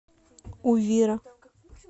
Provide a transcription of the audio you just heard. увира